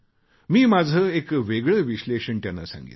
मी माझे एक वेगळे विश्लेषण त्यांना सांगितले